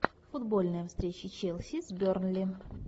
футбольная встреча челси с бернли